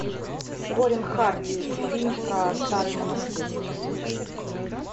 корин харди фильм про старый монастырь